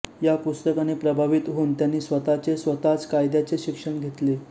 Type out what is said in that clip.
या पुस्तकाने प्रभावित होऊन त्यांनी स्वतःचे स्वतःच कायद्याचे शिक्षण घेतले